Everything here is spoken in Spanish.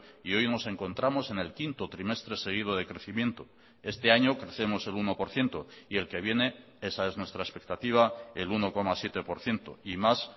y hoy nos encontramos en el quinto trimestre seguido de crecimiento este año crecemos el uno por ciento y el que viene esa es nuestra expectativa el uno coma siete por ciento y más